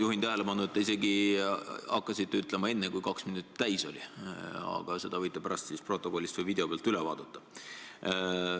Juhin tähelepanu, et te hakkasite seda ütlema isegi enne, kui kaks minutit täis oli, aga seda võite pärast video pealt üle vaadata.